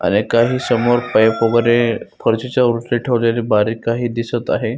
आणि काही समोर पाइप वगेरे फरशीच्या वरती ठेवलेले बारीक काही दिसत आहे.